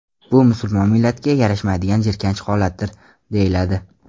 Bu musulmon millatiga yarashmaydigan jirkanch holatdir”, deyiladi.